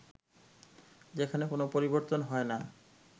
যেখানে কোন পরিবর্তন হয় না